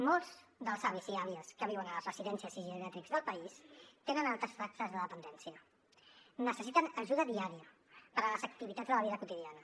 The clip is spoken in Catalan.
molts dels avis i àvies que viuen a les residències i geriàtrics del país tenen altes taxes de dependència necessiten ajuda diària per a les activitats de la vida quotidiana